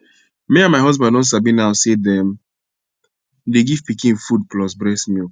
me and my husband don sabi now say them dey give pikin food plus breast milk